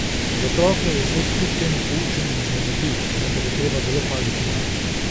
Za otroke je izlet kljub temu poučen in vznemirljiv, vendar je treba zelo paziti nanje!